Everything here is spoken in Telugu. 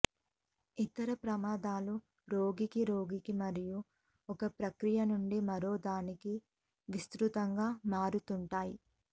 ఇతర ప్రమాదాలు రోగికి రోగికి మరియు ఒక ప్రక్రియ నుండి మరొకదానికి విస్తృతంగా మారుతుంటాయి